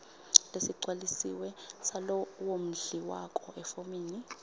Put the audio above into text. lesigcwalisiwe salowondliwako efomini